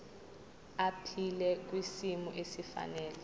aphile kwisimo esifanele